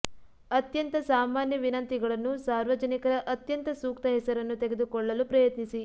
ಅತ್ಯಂತ ಸಾಮಾನ್ಯ ವಿನಂತಿಗಳನ್ನು ಸಾರ್ವಜನಿಕರ ಅತ್ಯಂತ ಸೂಕ್ತ ಹೆಸರನ್ನು ತೆಗೆದುಕೊಳ್ಳಲು ಪ್ರಯತ್ನಿಸಿ